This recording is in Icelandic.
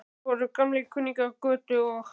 Þeir voru gamlir kunningjar Kötu og